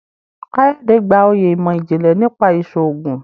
Kayode gbà oyè imọ-jinlẹ nípa iṣoogun